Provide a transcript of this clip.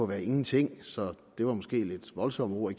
være ingenting så det var måske et lidt voldsomt ord at